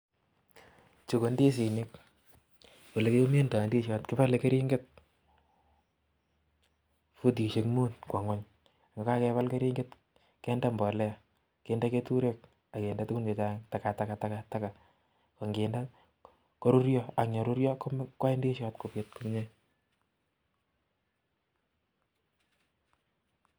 Chu ko ndisinik. Olekimindoi ndishot, kipole keringet futishek mut kwo ng'uny kokakepal keringet kende mbolea[cs kende keturek akende tukun chechang, takataka takataka ko nkinde koruryo ang yeruryo kwai ndishot kopit komie.